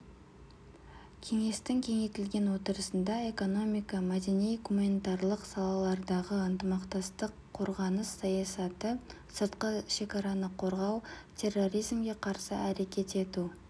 кеңестің кеңейтілген отырысында экономика мәдени-гуманитарлық салалардағы ынтымақтастық қорғаныс саясаты сыртқы шекараны қорғау терроризмге қарсы әрекет ету